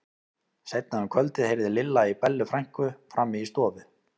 Seinna um kvöldið heyrði Lilla í Bellu frænku frammi í stofu.